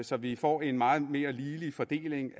så vi får en meget mere ligelig fordeling